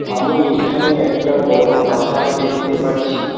আমি এখানে একটা বড় পাহাড় দেখতে পাচ্ছি।